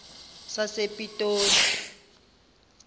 sasepitoli